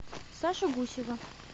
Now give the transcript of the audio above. сашу гусева